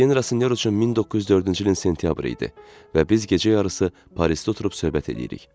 Etyen Rasinyor üçün 1904-cü ilin sentyabrı idi və biz gecə yarısı Parisdə oturub söhbət eləyirik.